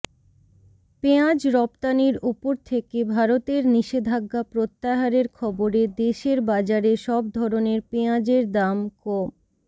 পেঁয়াজ রপ্তানির ওপর থেকে ভারতের নিষেধাজ্ঞা প্রত্যাহারের খবরে দেশের বাজারে সব ধরনের পেঁয়াজের দাম ক